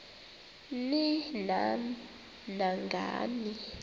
ni nam nangani